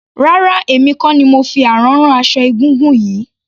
Rárá emi kò ni mo fi àrán rán aṣọ egúngún yìí.